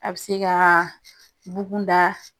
A be se ka bukun da